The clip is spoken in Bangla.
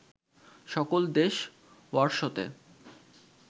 সকল দেশ ওয়ারশতে